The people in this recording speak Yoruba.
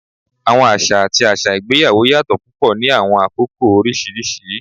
Awọn aṣa ati aṣa igbeyawo yatọ pupọ ni awọn akoko oriṣiriṣi